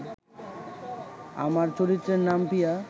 আমার চরিত্রের নাম পিয়া